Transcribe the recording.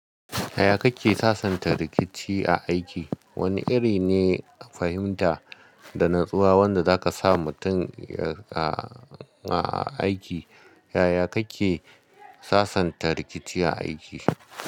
Yaya kake sasanta rikici a aiki? Wane iri ne fahimta da natsuwa wanda zaka sa mutum ya aiki. Yaya kake sasanta rikici a aiki?